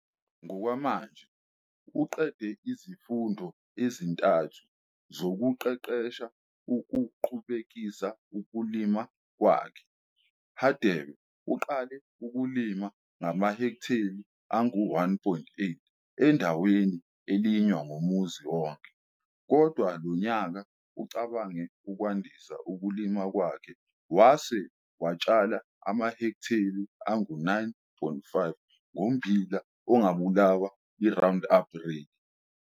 Ngokwamanje uqede izifundo ezintathu zokuqeqesha ukuqhubekisa ukulima kwakhe. Hadebe uqale ukulima amahektheli angu-1,8 endaweni elinywa ngumuzi onke, kodwa lo nyaka ucabange ukwandisa ukulima kwakhe wase watshala amahektheli angu-9,5 ngommbilal ongabulawa iRoundup Ready, Roundup Ready maize.